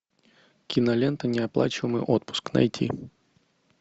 кинолента неоплачиваемый отпуск найти